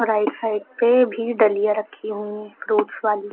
Side side पे भी डलिया रखी हुई हैं फ्रूट्स वाली।